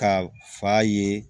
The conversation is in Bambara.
Ka fa ye